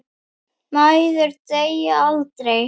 Mæður deyja aldrei.